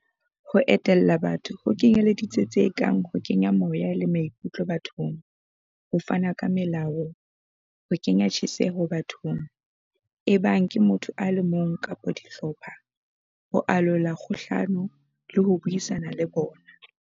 Ho etella pele ho kenyeletsa tse kang ho kenya moya le maikutlo bathong, ho fana ka melao, ho kenya tjheseho bathong, ebang ke motho a le mong kapa dihlopha, ho alola dikgohlano le ho buisana le bona.